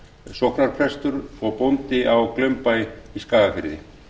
sóknarprestur og bóndi á glaumbæ í skagafirði